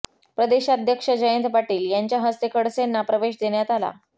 प्रदेशाध्यक्ष जयंत पाटील यांच्या हस्ते खडसेंना प्रवेश देण्यात आला